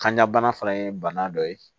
Kanjabana fana ye bana dɔ ye